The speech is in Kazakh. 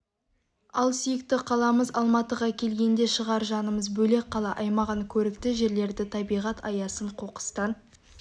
ал сүйікті қаламыз алматыға келгенде шығар жанымыз бөлек қала аймағын көрікті жерлерді табиғат аясын қоқыстан